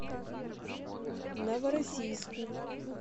новороссийску